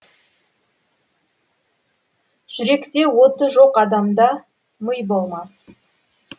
жүректе оты жоқ адамда мый болмас